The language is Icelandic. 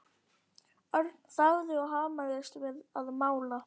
Örn þagði og hamaðist við að mála.